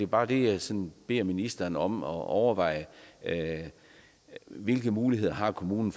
bare det jeg sådan beder ministeren om at overveje hvilke muligheder har kommunen